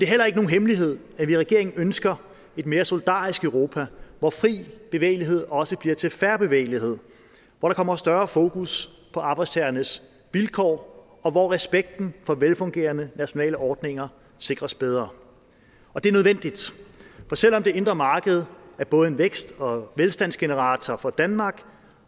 heller ikke nogen hemmelighed at vi i regeringen ønsker et mere solidarisk europa hvor fri bevægelighed også bliver til fair bevægelighed hvor der kommer større fokus på arbejdstagernes vilkår og hvor respekten for velfungerende nationale ordninger sikres bedre og det er nødvendigt for selv om det indre marked er både en vækst og velstandsgenerator for danmark